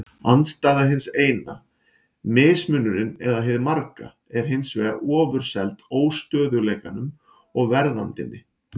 Andstæða hins eina, mismunurinn eða hið marga, er hins vegar ofurseld óstöðugleikanum og verðandinni.